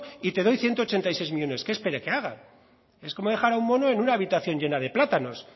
y te doy ciento ochenta y seis millónes qué espere que haga es como dejar a un mono en una habitación llena de plátanos